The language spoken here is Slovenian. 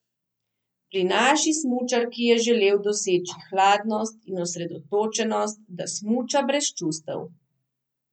Pri naši smučarki je želel doseči hladnost in osredotočenost, da smuča brez čustev.